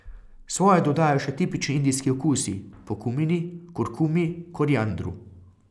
Svoje dodajo še tipični indijski okusi, po kumini, kurkumi, koriandru.